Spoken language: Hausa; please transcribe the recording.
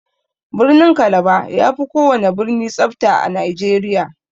Birnin kalaba yafi kowana birni tsafta a nigeria.